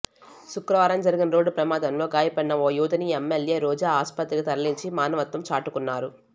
శుక్రవారం జరిగిన రోడ్డు ప్రమాదంలో గాయపడిన ఓ యువతిని ఎమ్మెల్యే రోజా ఆస్పత్రికి తరలించి మానవత్వం చాటుకున్నారు